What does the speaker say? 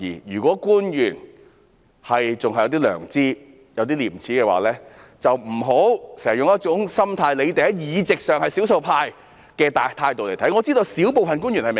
如果官員還有一點良知及稍有廉耻的話，便不要經常用一種"你們在議席上是少數派"的態度來看待事情。